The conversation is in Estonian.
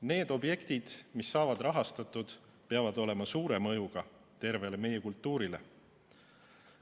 Need objektid, mis saavad rahastatud, peavad olema suure mõjuga tervele meie kultuurile.